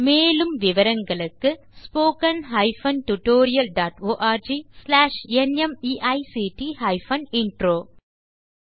மேலும் விவரங்களுக்கு spoken hyphen tutorial dot org slash NMEICT hyphen intro மூல பாடம் தேசி க்ரூ சொலூஷன்ஸ்